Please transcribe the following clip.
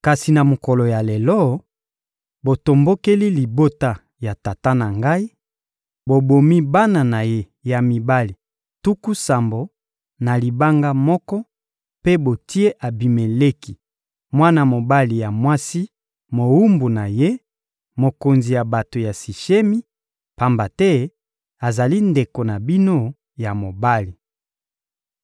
Kasi na mokolo ya lelo, botombokeli libota ya tata na ngai, bobomi bana na ye ya mibali tuku sambo, na libanga moko, mpe botie Abimeleki, mwana mobali ya mwasi mowumbu na ye, mokonzi ya bato ya Sishemi, pamba te azali ndeko na bino ya mobali.